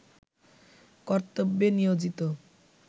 কর্তব্যে নিয়োজিত